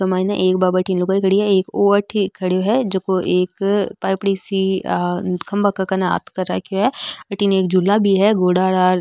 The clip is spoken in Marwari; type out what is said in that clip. लुगाई खड़ी है वो उठी खड़ो है जो एक पाइपडी सी खम्भा के कन हाथ कर रखे है अठीने एक झूला भी है घोड़ा आला --